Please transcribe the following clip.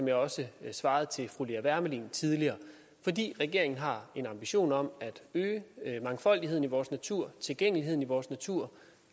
jeg også svarede fru lea wermelin tidligere regeringen har en ambition om at øge mangfoldigheden i vores natur tilgængeligheden i vores natur